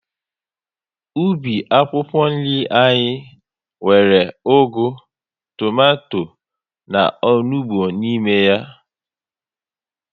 Ubi akwụkwọ nri anyị nwere ugu, tomato na onugbu n'ime ya